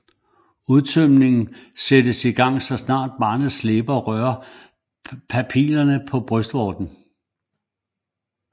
Udtømningen sættes i gang så snart barnets læber rører papillerne på brystvorten